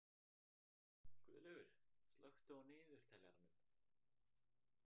Guðlaugur, slökktu á niðurteljaranum.